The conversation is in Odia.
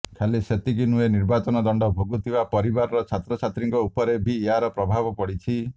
ଖାଲି ସେତିକି ନୁହେଁ ନିର୍ବାସନ ଦଣ୍ଡ ଭୋଗୁଥିବା ପରିବାରର ଛାତ୍ରଛାତ୍ରୀଙ୍କ ଉପରେ ବି ଏହାର ପ୍ରଭାବ ପଡ଼ିଛି